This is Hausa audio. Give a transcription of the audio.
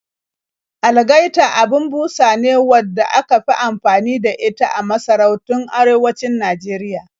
Algaita abin busa ne wadda aka fi anfani da ita a masarautun arewacin Najeriya